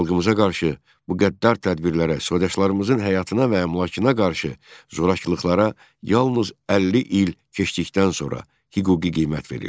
Xalqımıza qarşı bu qəddar tədbirlərə, soydaşlarımızın həyatına və əmlakına qarşı zorakılıqlara yalnız 50 il keçdikdən sonra hüquqi qiymət verildi.